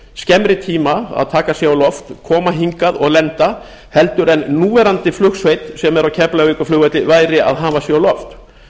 skemmri tíma að taka sig á loft koma hingað og lenda heldur en núverandi flugsveit sem er á keflavíkurflugvelli væri að hafa sig á loft